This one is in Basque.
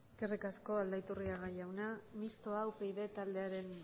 eskerrik asko aldaiturriga jauna mistoa upyd taldearen